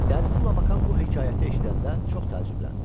Dərsi Labakan bu hekayəti eşidəndə çox təəccübləndi.